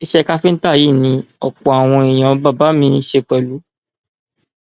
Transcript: iṣẹ káfíńtà yìí ni ọpọ àwọn èèyàn bàbá mi ń ṣe pẹlú